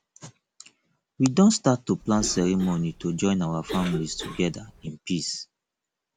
we don start to plan ceremony to join our families together in peace